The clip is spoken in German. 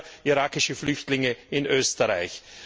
Ich kenne selber irakische Flüchtlinge in Österreich.